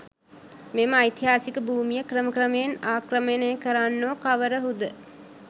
මෙම ඓතිහාසික භූමිය ක්‍රම ක්‍රමයෙන් ආක්‍රමණය කරන්නෝ කවරහුද?